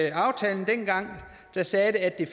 i aftalen dengang sagde at den